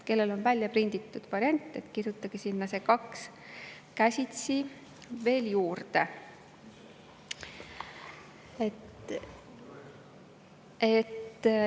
Kellel on välja prinditud variant, kirjutage sinna "2" käsitsi veel juurde.